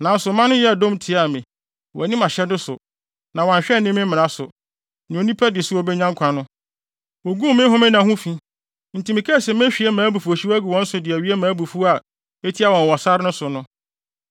“ ‘Nanso mma no yɛɛ dɔm tiaa me. Wɔanni mʼahyɛde so, na wɔanhwɛ anni me mmara so; nea onipa di so a obenya nkwa no, woguu me homenna ho fi. Enti mekaa se mehwie mʼabufuwhyew agu wɔn so de awie mʼabufuw a etia wɔn wɔ sare no so no.